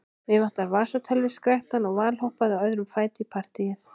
Mig vantar vasatölvu, skrækti hann og valhoppaði á öðrum fæti í partýið.